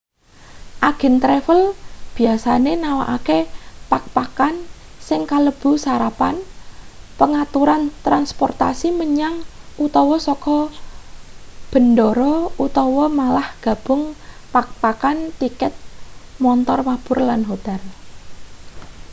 agen travel biasane nawakake pak-pakan sing kalebu sarapan pangaturan transportasi menyang/saka bendara utawa malah gabungan pak-pakan tiket montor mabur lan hotel